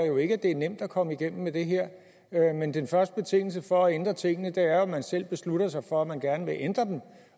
jo ikke at det er nemt at komme igennem med det her men den første betingelse for at ændre tingene er jo at man selv beslutter sig for at man gerne vil ændre dem